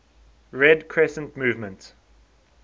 red crescent movement